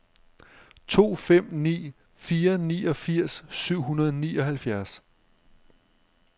to fem ni fire niogfirs syv hundrede og nioghalvfjerds